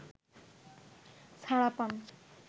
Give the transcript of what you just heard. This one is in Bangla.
ছাড়া পান